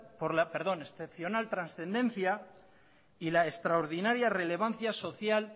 por la excepcional trascendencia y la extraordinaria relevancia social